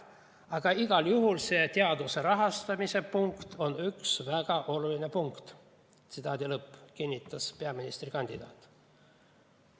"Aga igal juhul ma arvan, et see teaduse rahastamise punkt on üks väga oluline punkt," kinnitas peaministrikandidaat.